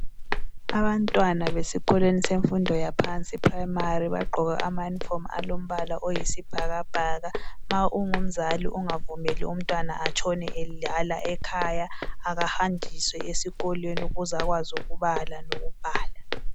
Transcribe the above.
abantwana besikolweni semfundo yaphansi e primary bagqoke ama uniform alombala oyisibhakabhaka ma ungumzali ungavumeli umntwana atshone edlala ekhaya akahanjiswe esikolweni ukuze akwazi ukubala lokubhala